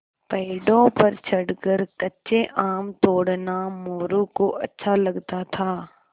पेड़ों पर चढ़कर कच्चे आम तोड़ना मोरू को अच्छा लगता था